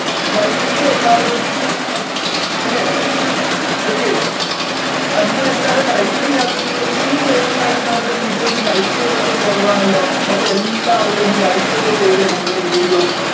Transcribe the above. live ൽ ഇല്ലേ എല്ലാവരും അല്ലെ okay അഹ് നിങ്ങളെന്താണ് like ചെയ്യതത്ത് ഇത്രേം പേരുണ്ടായിട്ട് നമ്മൾടെ video ന് like കുകളൊക്കെ കുറവാണല്ലോ എല്ലാവരും ഒന്ന് like ഒക്കെ ചെയ്തേ നമ്മൾടെ video